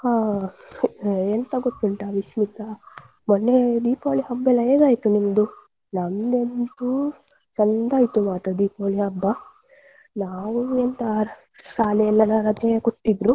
ಹಾ ಹ್ಮ್‌ ಎಂತ ಗೊತ್ತುಂಟ ವಿಸ್ಮಿತ ಮೊನ್ನೆ Deepavali ಹಬ್ಬಯೆಲ್ಲಾ ಹೇಗಾಯ್ತು ನಿಮ್ದು. ನಮ್ದು ಅಂತೂ ಚಂದಾ ಆಯ್ತು ಮಾತ್ರ Deepavali ಹಬ್ಬ ನಾವು ಎಂತ ಅ ಶಾಲೆಯಲ್ಲ ರಜೆ ಕೊಟ್ಟಿದ್ರು.